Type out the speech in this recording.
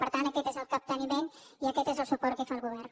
per tant aquest és el capteniment i aquest és el suport que hi fa el govern